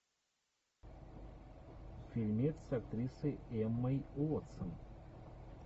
фильмец с актрисой эммой уотсон